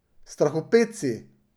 Strahopetci.